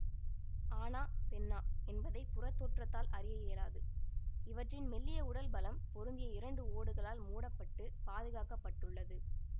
ஆணா பெண்ணா என்பதை புறத் தோற்றத்தால் அறிய இயலாது இவற்றின் மெல்லிய உடல் பலம் பொருந்திய இரண்டு ஓடுகளால் மூடப்பட்டு பாதுகாக்க பட்டுள்ளது